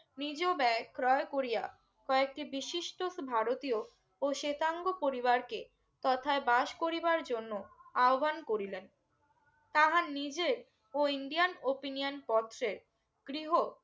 নিযু ব্যয় ক্রয় করিয়া কয়েকটি বিশিষ্ট ভারতীয় ও সেতাঙ্গ পরিবারকে তথায় বাস করিবার জন্য আহ্বান করিলেন তাঁহা নিজে ও ইন্ডিয়ান opinion পত্রে গৃহ